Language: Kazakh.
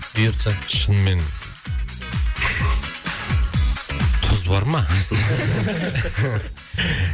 бұйыртса шынымен тұз бар ма